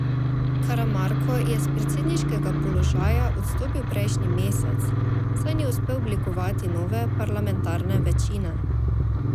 Karamarko je s predsedniškega položaja odstopil prejšnji mesec, saj ni uspel oblikovati nove parlamentarne večine.